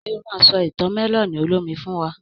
Ṣe o ma sọ ìtàn mẹ́lọ̀nì olómi fún wa?